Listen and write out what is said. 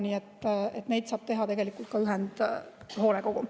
Nii et seda saab teha tegelikult ka ühendhoolekogu.